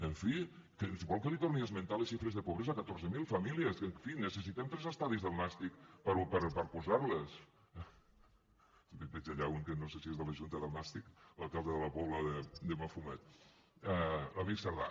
en fi vol que li torni a esmentar les xifres de pobresa catorze mil famílies que en fi necessitem tres estadis del nàstic per posar les en veig allà un que no sé si és de la junta del nàstic l’alcalde de la pobla de mafumet l’amic sardà